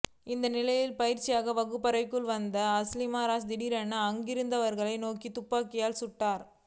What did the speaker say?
இந்நிலையில் பயிற்சியக வகுப்பறைக்கு வந்த அல் ஷம்ரானி திடீரென அங்கிருந்தவர்களை நோக்கி துப்பாக்கியால் சுட்டார்